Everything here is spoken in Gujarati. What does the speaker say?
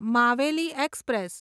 માવેલી એક્સપ્રેસ